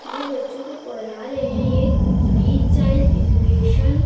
ये बच्चों को पढ़ा रहे है ये एक फ्री चाइल्ड एजुकेशन --